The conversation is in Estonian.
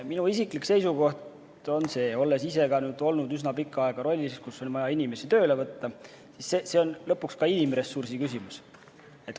Minu isiklik seisukoht on, et olles ise olnud üsna pikka aega rollis, kus on vaja inimesi tööle võtta, on see lõpuks ka inimressursi küsimus.